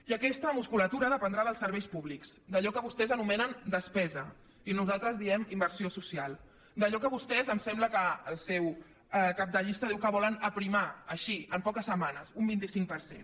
i aquesta musculatura dependrà dels serveis públics d’allò que vostès anomenen despesa i nosaltres en diem inversió social d’allò que vostès em sembla que el seu cap de llista diu que volen aprimar així en poques setmanes un vint cinc per cent